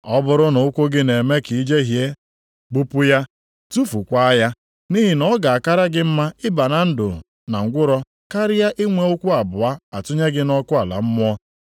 Ọ bụrụ na ụkwụ gị na-eme ka i jehie, gbupụ ya, tufukwaa ya, nʼihi na ọ ga-akara gị mma ịba na ndụ na ngwụrọ karịa inwe ụkwụ abụọ a tụnye gị nʼọkụ ala mmụọ;